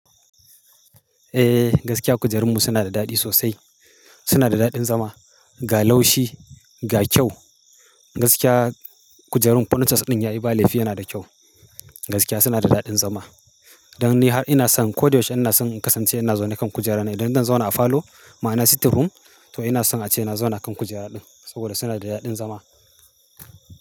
Eh, gaskiya kujerunmu suna da daɗi sosai. Suna da daɗin zama, ga laushi, ga kyau. Gaskiya, kujerun fonicas ɗin ya yi ba laifi yana da kyau. Gaskiya suna da daɗin zama. Dan ni har ina son, ko da yaushe ina son in kasance ina zaune kan kujera ne. Idan zan zauna a falo, ma'ana sitting room, to ina son ace na zauna kan kujera ɗin, saboda suna da daɗin zama.